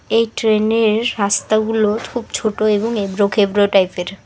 এই ট্রেন -এর রাস্তাগুলো খুব ছোট এবং এবড়ো খেবড়ো টাইপ -এর।